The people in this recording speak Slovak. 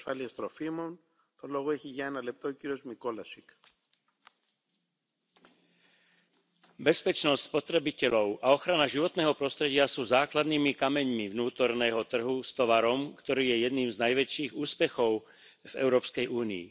Vážený pán predsedajúci, bezpečnosť spotrebiteľov a ochrana životného prostredia sú základnými kameňmi vnútorného trhu s tovarom, ktorý je jedným z najväčších úspechov v Európskej únii.